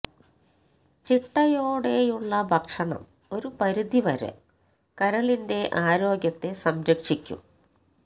ചിട്ടയോടെയുള്ള ഭക്ഷണം ഒരു പരിധി വരെ കരളിന്റെ ആരോഗ്യത്തെ സംരക്ഷിക്കും